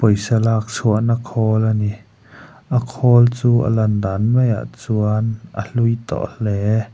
pawisa lak chhuakna khawl a ni a khawl chu a lan dan maiah chuan a hlui tawh hle.